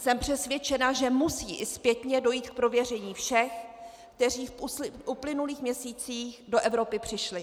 Jsem přesvědčena, že musí i zpětně dojít k prověření všech, kteří v uplynulých měsících do Evropy přišli.